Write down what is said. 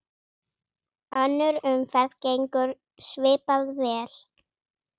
Önnur umferð gengur svipað vel.